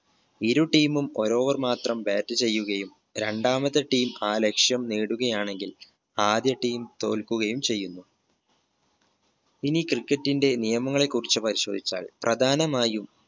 ഇരു team ഉം ഒരു over മാത്രം bat ചെയ്യുകയും രണ്ടാമത്തെ team ആ ലക്ഷ്യം നേടുകയാണെങ്കിൽ ആദ്യ team തോൽക്കുകയും ചെയ്യുന്നു ഇനി cricket ന്റെ നിയമങ്ങളെ കുറിച്ച് പരിശോധിച്ചാൽ പ്രധാനമായും